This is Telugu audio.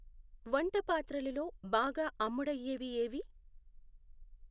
వంటపాత్రలు లో బాగా అమ్ముడయ్యేవి ఏవి?